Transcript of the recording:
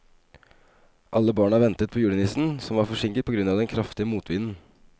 Alle barna ventet på julenissen, som var forsinket på grunn av den kraftige motvinden.